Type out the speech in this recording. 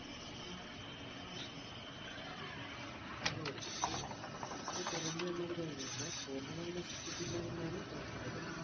അതെ ഇപ്പോൾ അത് കുറഞ്ഞു എന്നാണ് തോന്നുന്നത്. എന്നാൽ പൂർണമായി നശിച്ചിട്ടില്ല എന്നാണ് കേൾക്കുന്നത്.